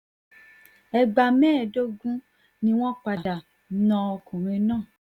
ẹgbà mẹ́ẹ̀ẹ́dógún ni wọ́n padà na ọkùnrin náà